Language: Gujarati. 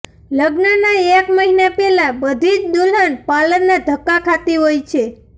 લગ્નનાં એક મહિના પહેલા બધી જ દુલ્હન પાર્લરનાં ધક્કા ખાતી હોય છે